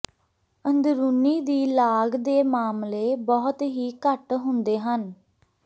ਅੰਦਰੂਨੀ ਦੀ ਲਾਗ ਦੇ ਮਾਮਲੇ ਬਹੁਤ ਹੀ ਘੱਟ ਹੁੰਦੇ ਹਨ